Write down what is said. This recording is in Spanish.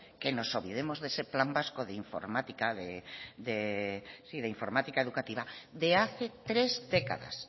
que nos olvidemos de ese plan vasco de informática educativa de hace tres décadas